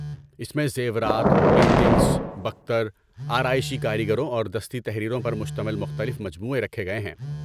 اس میں زیورات، پینٹنگز، بکتر، آرائشی کاریگریوں اور دستی تحریروں پر مشتمل مختلف مجموعے رکھے گئے ہیں۔